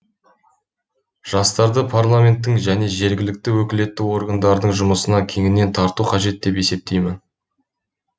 жастарды парламенттің және жергілікті өкілетті органдардың жұмысына кеңінен тарту қажет деп есептеймін